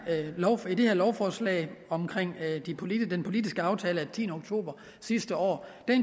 lovforslag om den politiske aftale af tiende oktober sidste år